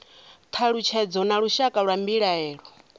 thalutshedzo na lushaka lwa mbilaelo